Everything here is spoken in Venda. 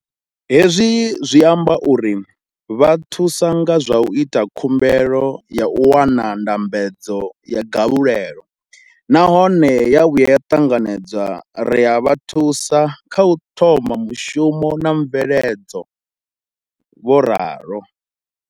Hezwi zwi amba uri ri vha thusa nga zwa u ita khumbelo ya u wana ndambedzo ya galulelo nahone ya vhuya ya ṱanganedzwa, ri a vha thusa kha u thoma mushumo na mveledzo, vho ralo.